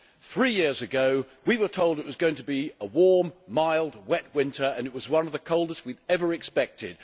Three years ago we were told it was going to be a warm, mild, wet winter, and it was one of the coldest we have ever experienced.